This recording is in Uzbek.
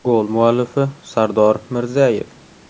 Gol muallifi Sardor Mirzayev.